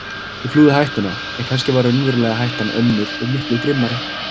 Ég flúði hættuna en kannski var raunverulega hættan önnur og miklu grimmari.